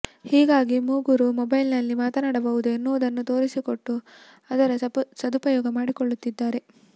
ಹೀಗಾಗಿ ಮೂಗರು ಮೊಬೈಲ್ನಲ್ಲಿ ಮಾತನಾಡಬಹುದು ಎನ್ನುವುದನ್ನು ತೋರಿಸಿಕೊಟ್ಟು ಅದರ ಸದುಪಯೋಗ ಮಾಡಿಕೊಳ್ಳುತ್ತಿದ್ದಾರೆ